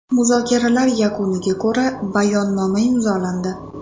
Muzokaralar yakuniga ko‘ra Bayonnoma imzolandi.